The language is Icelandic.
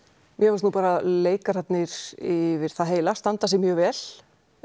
mér fannst leikararnir yfir það heila standa sig mjög vel